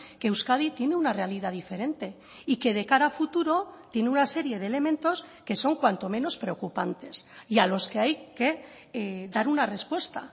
que euskadi tiene una realidad diferente y que de cara a futuro tiene una serie de elementos que son cuanto menos preocupantes y a los que hay que dar una respuesta